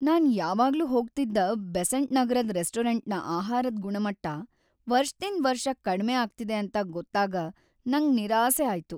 ನಾನ್ ಯಾವಾಗ್ಲೂ ಹೋಗ್ತಿದ್ದ ಬೆಸೆಂಟ್ ನಗರದ್ ರೆಸ್ಟೋರೆಂಟ್ನ ಆಹಾರದ್ ಗುಣಮಟ್ಟ ವರ್ಷದಿಂದ್ ವರ್ಷಕ್ ಕಡ್ಮೆ ಆಗ್ತಿದೆ ಅಂತ ಗೊತ್ತಾಗ ನಂಗ್ ನಿರಾಸೆ ಆಯ್ತು.